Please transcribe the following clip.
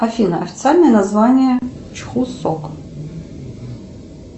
афина официальное название чхусок